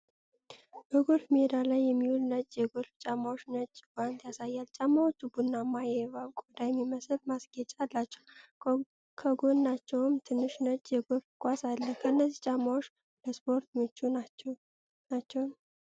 በጎልፍ ሜዳ ላይ የሚውሉ ነጭ የጎልፍ ጫማዎችና ነጭ ጓንት ያሳያል። ጫማዎቹ ቡናማ የእባብ ቆዳ የሚመስል ማስጌጫ አላቸው። ከጎናቸውም ትንሽ ነጭ የጎልፍ ኳስ አለ። እነዚህ ጫማዎች ለስፖርቱ ምቹ ናቸው?